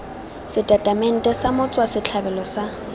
setatamente sa motswa setlhabelo sa